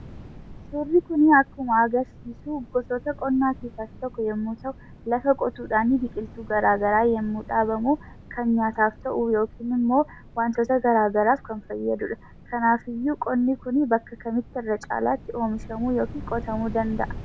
Suurri kun akkuma agartan gosoota qonnaa keessaa isa tokko yommuu ta'u, lafa qotuudhaan biqiltuu garaagaraa yommuu dhaabamu kan nyaataaf ta'uu yookiin immoo wantoota garaagaraaf kan fayyadudha. Kanaaf iyyuu qonni kun bakka kamitti irra caalaattii oomishamuu yookiin qotamuu danda'aa?